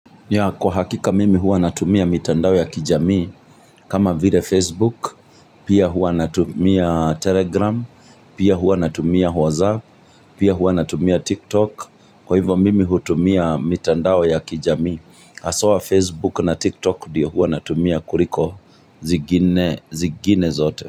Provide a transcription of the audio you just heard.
Kwa hakika mimi hua natumia mitandao ya kijami. Kama vile Facebook, pia hua natumia Telegram, pia hua natumia WhatsApp, pia hua natumia TikTok. Kwa hivyo mimi hutumia mitandao ya kijamii. Haswa Facebook na TikTok ndio huwa natumia kuriko zigine zote.